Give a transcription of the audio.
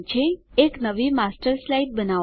એક નવી master slide બનાવો